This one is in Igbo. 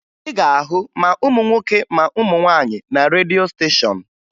Ị ga-ahụ ma ụmụ nwoke ma ụmụ nwaanyị na redio steshọn